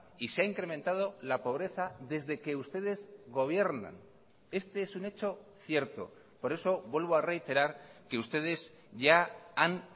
y se ha incrementado la pobreza desde que ustedes gobiernan este es un hecho cierto por eso vuelvo a reiterar que ustedes ya han